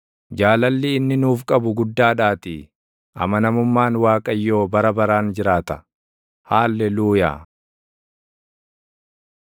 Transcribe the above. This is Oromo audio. Jaalalli inni nuuf qabu guddaadhaatii; amanamummaan Waaqayyoo bara baraan jiraata. Haalleluuyaa.